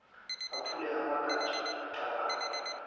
aphule amagatsha acabange